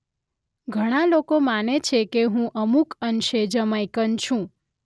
ઘણાં લોકો માને છે કે હું અમુક અંશે જમૈકન છું